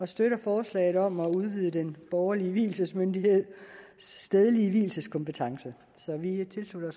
støtter forslaget om at udvide den borgerlige vielsesmyndigheds stedlige vielseskompetence så vi tilslutter